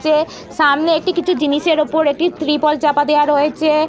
চে সামনে একটি কিছু জিনিসের ওপর একটি ত্রিপল চাপা দেওয়া রয়েচে-এ--